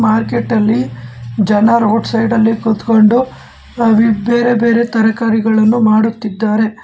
Market ಅಲ್ಲಿ ಜನ road side ಅಲ್ಲಿ ಕೂತ್ಕೊಂಡು ಬೇರೆ ಬೇರೆ ತರಕಾರಿಗಳನ್ನು ಮಾರುತ್ತಿದ್ದಾರೆ.